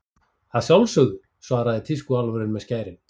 Að sjálfsögðu, svaraði tískuálfurinn með skærin.